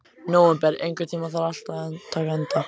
Nóvember, einhvern tímann þarf allt að taka enda.